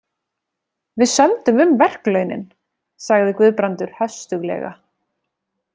Við sömdum um verklaunin, sagði Guðbrandur höstuglega.